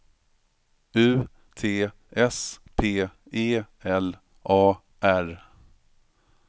U T S P E L A R